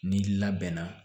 Ni labɛnna